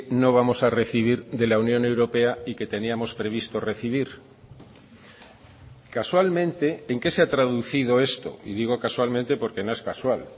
no vamos a recibir de la unión europea y que teníamos previsto recibir casualmente en qué se ha traducido esto y digo casualmente porque no es casual